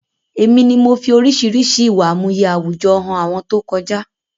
Èmi ni mo fi oríṣiríṣi ìwà àmúye àwùjọ hàn àwọn tó kọjá